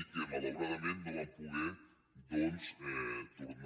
i que malaurada·ment no van poder doncs tornar